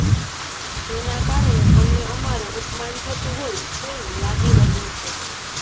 જેના કારણે અમને અમારૂ અપમાન થતું હોય તેવું લાગી રહ્યું છે